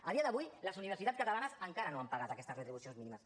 a dia d’avui les universitats catalanes encara no han pagat aquestes retribucions mínimes